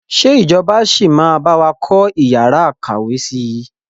Ṣé ìjọba sì máa bawa kọ́ yàrá ìkàwé síí?